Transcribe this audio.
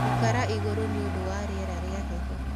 Ĩkĩra ĩgũrũ niundu wa rĩera rĩa heho